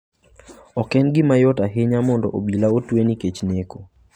Ok en gima yot ahinya mondo Obila otwe nikech neko.